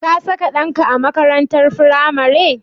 Ka saka ɗanka a makaranatar firamare?